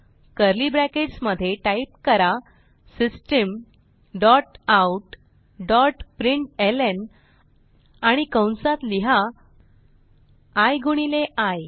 curly brackets मध्ये type करा system dot out dot println आणि कंसात लिहा आय गुणिले आय